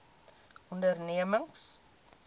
ondernemings